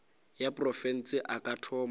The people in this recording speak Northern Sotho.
ya profense a ka thoma